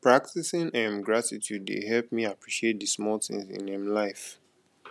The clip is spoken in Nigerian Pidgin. practicing um gratitude dey help me appreciate the small things in um life